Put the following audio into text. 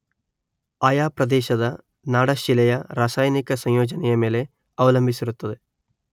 ಆಯಾ ಪ್ರದೇಶದ ನಾಡಶಿಲೆಯ ರಾಸಾಯನಿಕ ಸಂಯೋಜನೆಯ ಮೇಲೆ ಅವಲಂಬಿಸಿರುತ್ತದೆ.